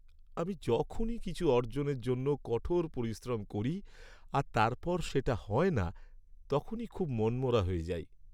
আমি যখনই কিছু অর্জনের জন্য কঠোর পরিশ্রম করি আর তারপর সেটা হয় না, তখনই খুব মনমরা হয়ে যাই।